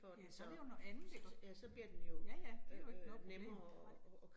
Ja, så det jo noget andet iggå. Ja ja, det jo ikke noget problem nej